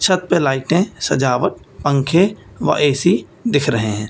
छत पे लाइटें सजावट पंखे व ए_सी दिख रहे हैं।